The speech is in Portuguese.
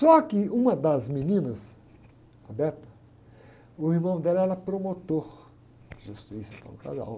Só que uma das meninas, a, o irmão dela era promotor de justiça, então, um cara...